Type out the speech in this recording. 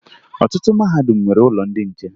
Ọtụtụ mahadum nwere ụlọ ndị nche